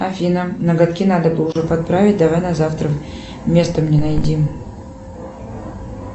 афина ноготки надо бы уже подправить давай на завтра место мне найди